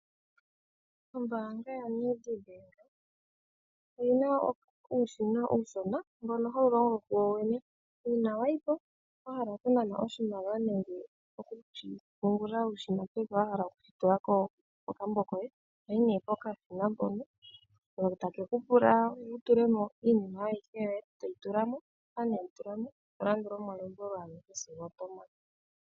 Ombaanga yoNEDBANK oyi na uushina uushona mbono hawu longo kuwo wene. Uuna wayi ko wa hala oku nana oshimaliwa nenge okushi pungula nenge wa hala okushi tula kokambo koye, ohoyi nee pokashina mpono ko take ku pula wu tule mo iinima yoye ayihe to yi tula mo, shampa nee weyi tula mo, to landula omalombwelo agehe sigo oto mana.